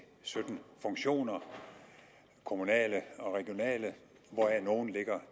sytten funktioner kommunale og regionale hvoraf nogle i dag